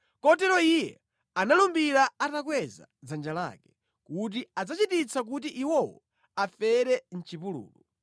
Kotero Iye analumbira atakweza dzanja lake, kuti adzachititsa kuti iwowo afere mʼchipululu,